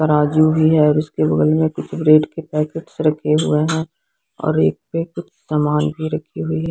तराज़ू भी है और उसके बगल में कुछ ब्रेड के पैकेट रखे हुए हैं और एक पर कुछ सामान भी रखी हुई --